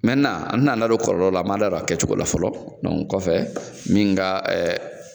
Mɛntenan an ti n'an da don a kɔlɔlɔ la an b'an da don a kɛ cogo la fɔlɔ dɔnku kɔfɛ min ga ɛɛ